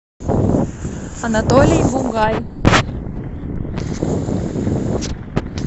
анатолий бугай